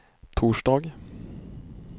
torsdag